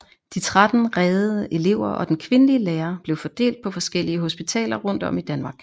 De 13 reddede elever og den kvindelige lærer blev fordelt på forskellige hospitaler rundt om i Danmark